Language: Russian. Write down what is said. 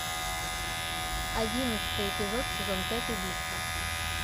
одиннадцатый эпизод сезон пять убийство